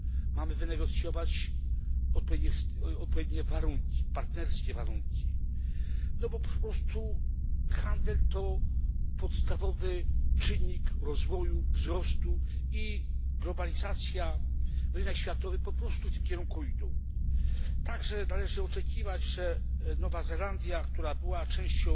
Mamy wynegocjować odpowiednie warunki, partnerskie warunki, bo po prostu handel to podstawowy czynnik rozwoju i wzrostu i globalizacja na rynku światowym po prostu w tym kierunku idzie. Należy także oczekiwać, że Nowa Zelandia, która była częścią